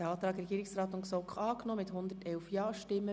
Sie haben diesen Antrag angenommen.